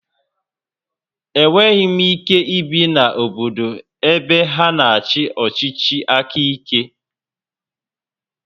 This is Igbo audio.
Enweghị m ike ibi na obodo ebe ha na-achị ọchịchị aka ike